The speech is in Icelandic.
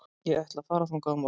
Ég ætla að fara þangað á morgun.